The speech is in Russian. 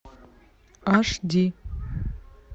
аш ди